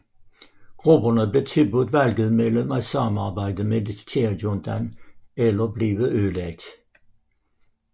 Grupperne blev tilbudt valget mellem at samarbejde med militærjuntaen eller blive ødelagt